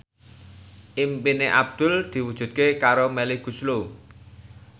impine Abdul diwujudke karo Melly Goeslaw